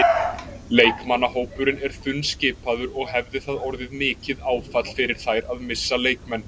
Leikmannahópurinn er þunnskipaður og hefði það orðið mikið áfall fyrir þær að missa leikmenn.